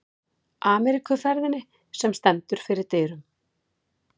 Ameríkuferðinni, sem stendur fyrir dyrum.